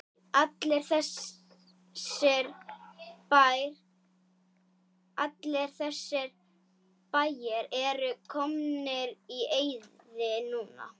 Allir þessir bæir eru komnir í eyði núna.